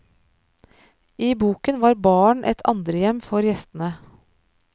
I boken var baren et andrehjem for gjestene.